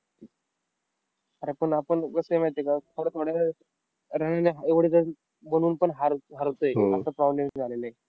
Ttwenty मध्ये. आणि आपली bowling सुधारली नाही तर अवघड world cup